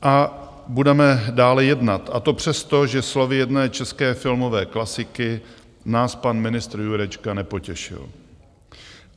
A budeme dále jednat, a to přesto, že slovy jedné české filmové klasiky nás pan ministr Jurečka nepotěšil.